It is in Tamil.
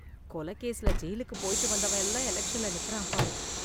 கொலை கேஸ்ல ஜெயிலுக்கு போயிட்டு வந்தவன் எல்லாம் எலக்சன்ல நிக்கறான் பாரு.